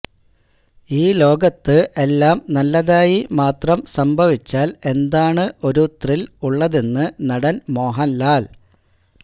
ഈ ലോകത്ത് എല്ലാം നല്ലതായി മാത്രം സംഭവിച്ചാല് എന്താണ് ഒരു ത്രില് ഉള്ളതെന്ന് നടന് മോഹന്ലാല്